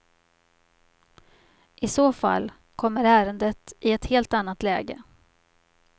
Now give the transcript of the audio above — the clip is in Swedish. I så fall kommer ärendet i ett helt annat läge.